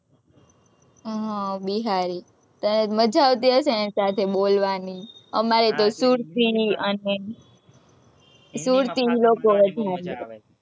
હમ બિહારી, તને તો મજા આવતી હશે ને એની સાથે બોલવાની, અમારે તો સુરતી અને સુરતી લોકો વધારે